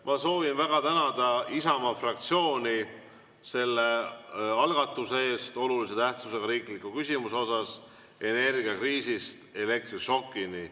Ma soovin väga tänada Isamaa fraktsiooni selle algatuse eest, olulise tähtsusega riikliku küsimuse "Energiakriisist elektrišokini" eest.